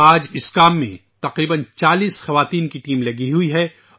آج تقریبا چالیس خواتین کی ایک ٹیم اس کام میں شامل ہے